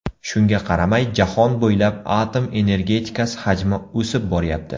Shunga qaramay, jahon bo‘ylab atom energetikasi hajmi o‘sib boryapti.